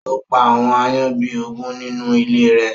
Ó pa àwọn àayan bi ógùn ninu ìlé rẹ